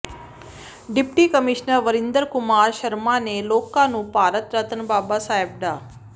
deputy commissioner Varinder Kumar Sharma ਨੇ ਲੋਕਾਂ ਨੂੰ ਭਾਰਤ ਰਤਨ ਬਾਬਾ ਸਾਹਿਬ ਡਾ